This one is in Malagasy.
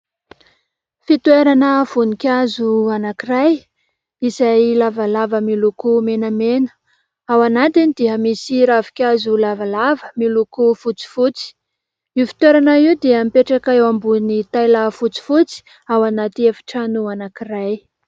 Fitoerana voninkazo anankiray izay lavalava miloko menamena, ao anatiny dia misy ravinkazo lavalava miloko fotsifotsy, io fitoerana io dia mipetraka eo ambony taila fotsifotsy ao anaty efitrano anankiray.